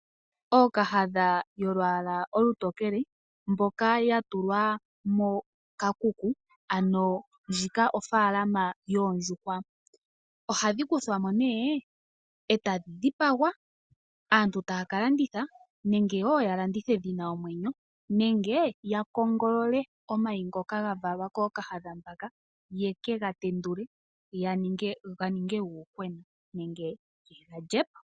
Ookahadha yolwaala olutokele mboka ya tulwa koshikuku, ndjika ofaalama yoondjuhwa. Ohadhi kuthwa mo nee e tadhi dhipagwa. Aantu oha ya ka landitha onyama nenge ya landithe dhi na omwenyo , nenge ya kongolelole omayi ngoka ga valwa kookahadha mbaka yeke ga tendule ga ninge uuyuhwena nenge ye ga lye po.